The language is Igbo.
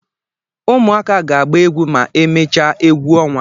Ụmụaka ga-agba egwu ma e mechaa egwu ọnwa.